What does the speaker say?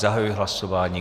Zahajuji hlasování.